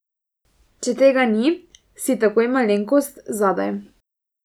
Če tega ni, si takoj malenkost zadaj.